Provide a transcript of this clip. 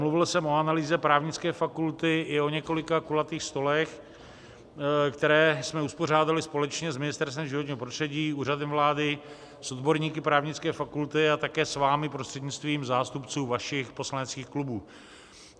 Mluvil jsem o analýze právnické fakulty i o několika kulatých stolech, které jsme uspořádali společně s Ministerstvem životního prostředí, Úřadem vlády, s odborníky právnické fakulty a také s vámi prostřednictvím zástupců vašich poslaneckých klubů.